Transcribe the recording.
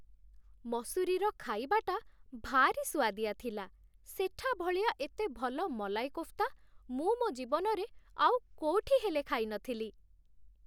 ମସୁରୀର ଖାଇବାଟା ଭାରି ସୁଆଦିଆ ଥିଲା । ସେଠା ଭଳିଆ ଏତେ ଭଲ ମଲାଇ କୋଫ୍ତା ମୁଁ ମୋ' ଜୀବନରେ ଆଉ କୋଉଠି ହେଲେ ଖାଇନଥିଲି ।